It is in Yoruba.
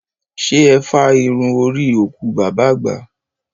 Ṣé ẹ fá irú orí òkú bàbá àgbà?